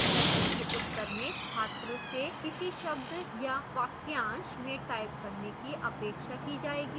प्रश्न के उत्तर में छात्र से किसी शब्द या वाक्यांश में type करने की अपेक्षा की जाएगी